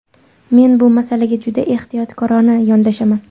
Men bu masalaga juda ehtiyotkorona yondashaman.